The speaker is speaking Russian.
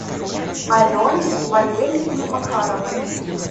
алене валерьевне макаровой